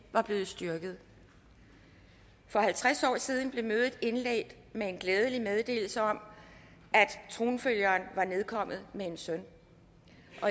var blevet styrket for halvtreds år siden blev mødet indledt med en glædelig meddelelse om at tronfølgeren var nedkommet med en søn